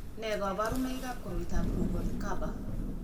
Nee kabarunoikab koroitoab Ruvalcaba?